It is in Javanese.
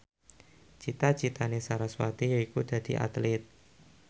cita citane sarasvati yaiku dadi Atlit